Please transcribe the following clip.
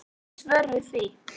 Eru til svör við því?